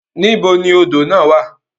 Nibo ni odo na wa?